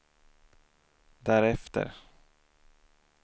därefter